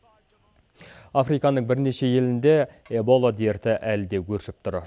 африканың бірнеше елінде эбола дерті әлі де өршіп тұр